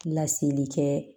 Laseli kɛ